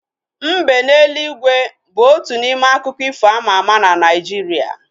Mbe n'eluigwe bu otu n'ime akụkọ ifo ama ama na Naijiria